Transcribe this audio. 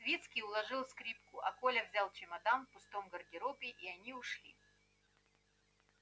свицкий уложил скрипку а коля взял чемодан в пустом гардеробе и они вышли